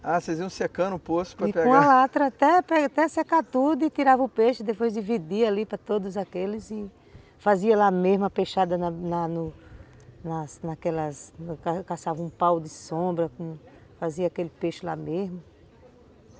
Ah, vocês iam secando o poço para pegar... E com a latra até secar tudo e tirava o peixe, depois dividia ali para todos aqueles e fazia lá mesmo a peixada na no na naquelas... Caçava um pau de sombra, fazia aquele peixe lá mesmo.